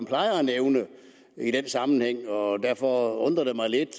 plejer at nævne i den sammenhæng og derfor undrer det mig lidt